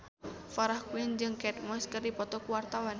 Farah Quinn jeung Kate Moss keur dipoto ku wartawan